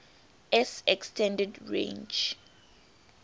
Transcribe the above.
s extended range